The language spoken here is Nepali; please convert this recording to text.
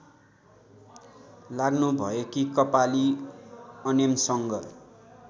लाग्नुभएकी कपाली अनेमसङ्घ